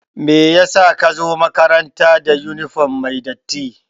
Meyasa ka zo makaranta da yunifom mai datti?